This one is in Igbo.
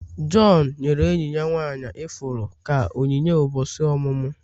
John nyere enyi ya nwanyị ifuru ka onyinye ụbọchị ọmụmụ.